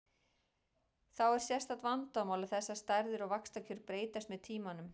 Þá er sérstakt vandamál að þessar stærðir og vaxtakjör breytast með tímanum.